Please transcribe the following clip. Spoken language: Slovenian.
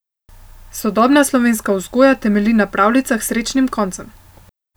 Sodobna slovenska vzgoja temelji na pravljicah s srečnim koncem.